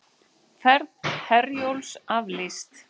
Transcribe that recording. Ferð Herjólfs aflýst